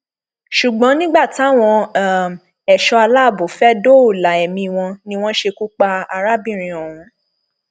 ṣùgbọn nígbà táwọn um ẹṣọ aláàbọ fẹẹ dóòlà ẹmí wọn um ni wọn ṣekú pa arábìnrin ọhún